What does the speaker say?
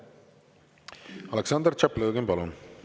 Aleksandr Tšaplõgin, palun!